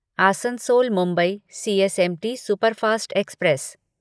Asansol Mumbai CSMT superfast express